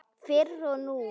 Fyrr og nú.